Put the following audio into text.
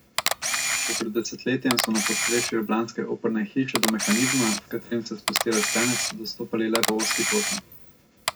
Še pred desetletjem so na podstrešju ljubljanske operne hiše do mehanizma, s katerim se spusti lestenec, dostopali le po ozki poti.